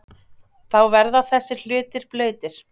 Þá verða þessir hlutir blautir.